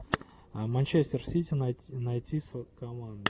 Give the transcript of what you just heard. манчестер сити найти команду